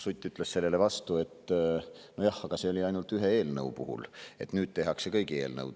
Sutt ütles vastu, et nojah, siis oli see ainult ühe eelnõu puhul, aga nüüd tehakse seda kõigi eelnõude puhul.